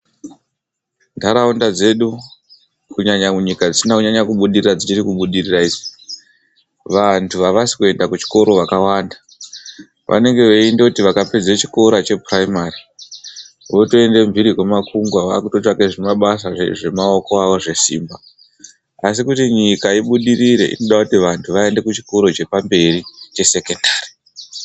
Ntharaunda dzedu kunyanya munyika dzisina kunyanya kubudirira, dzichiri kubudirira idzi, vanthu avasi kuenda kuzvikora vakawanda. Vanenge veindoti vakapedza chikora chephuraimari votoenda mphiri kwemakungwa vaakuto tsvaka zvimabasa zvemaoko avo zvesimba. Asi kuti nyika ibudirire inoda kuti vanthu vaende kuchikora chepamberi chesekondari.